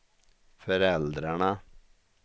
föräldrarna